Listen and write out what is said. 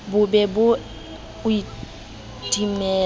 bo be bo o timella